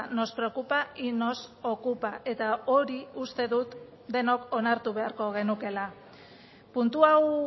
nos preocupa y nos ocupa eta hori uste dut denok onartu beharko genukeela puntu hau